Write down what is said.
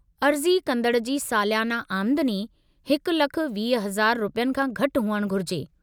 अर्ज़ी कंदड़ जी सालियाना आमदनी 1,20,000 रुपयनि खां घटि हुअणु घुरिजे।